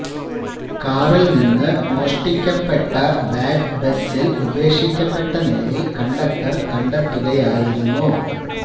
കാറില് നിന്ന് മോഷ്ടിക്കപ്പെട്ട ബാഗ് ബസില് ഉപേക്ഷിക്കപ്പെട്ട നിലയില് കണ്ടക്ടര് കണ്ടെത്തുകയായിരുന്നു